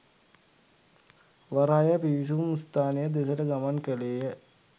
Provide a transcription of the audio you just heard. වරාය පිවිසුම් ස්ථානය දෙසට ගමන් කළේය